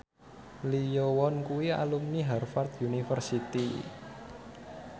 Lee Yo Won kuwi alumni Harvard university